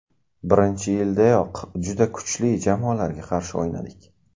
Birinchi yildayoq juda kuchli jamoalarga qarshi o‘ynadik.